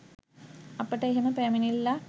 අපට එහෙම පැමිණිල්ලක්